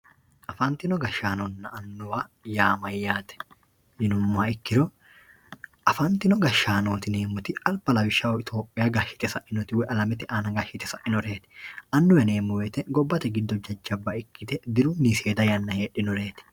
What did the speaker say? afantino gashshaanonna annuwa yaa mayyate yinummoha ikkiro afantino gashshaanooti yineemmoti alba lawishshaho itiyopiya gashshite sainoti woyi alamete aana gashshite sainoreeti annuwa yineemmo wote gobbate annuwa ikkite dirunni seeda yanna heedhinoreeti.